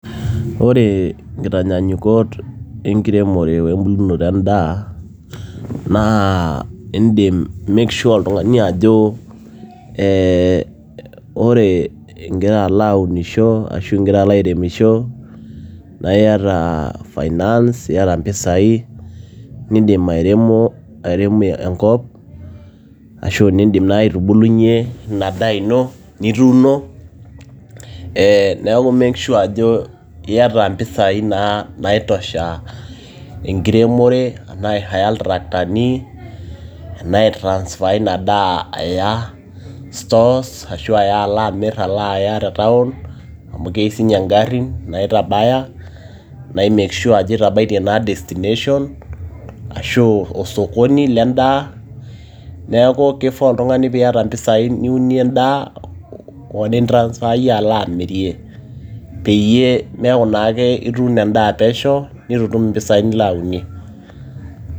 ore nkitanyaanyukot enkiremore wembulunoto endaa naa indim make sure oltung'ani ajo ee wore ingira alo aunisho ashu ingira alo airemisho naa iyata finance iyata mpisai nindim airemo airemie enkop ashu nindim naaji aitubulunyie ina daa ino nituuno ee neeku make sure ajo iata impisai naa naitosha enkiremore enaa aihaya iltraktani enaa aitransfer ina daa aya stores ashu aya alo amirr alo aya te town amu keyieu siininye ingarrin naitabaya nai make sure ajo itabaitie naa destination ashu osokoni lendaa neeku kifaa oltung'ani niata mpisai niunie endaa o nintrasfayie alo amirie peeyie meeku naake ituuno endaa pesho nitu itum mpisai nilo ayaunyie.